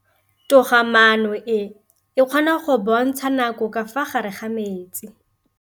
Toga-maanô e, e kgona go bontsha nakô ka fa gare ga metsi.